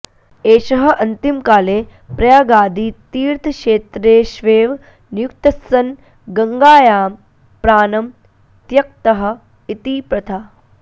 एषः अन्तिमकाले प्रयागादितीर्थक्षेत्रेष्वेव नियुक्तस्सन् गंगायां प्राणं त्यक्तः इति प्रथा